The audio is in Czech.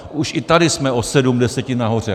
Už i tady jsme o sedm desetin nahoře.